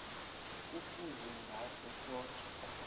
kufuze ngaso soke